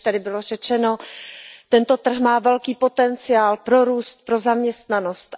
Jak zde již bylo řečeno, tento trh má velký potenciál pro růst, pro zaměstnanost.